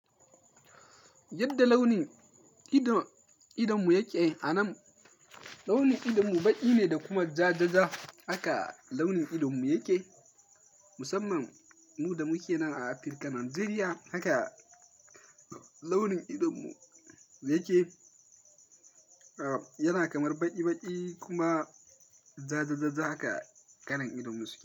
Yadda launin idon, idonmu yake a nan, launin idonmu baƙi ne da kuma jajaja haka launin idonmu yake. Musamman mu da muke nan a Afirka, Najeriya haka launin idonmu yake. Yana kamar baƙi-baƙi kuma jajajaja haka kalan idonmu suke.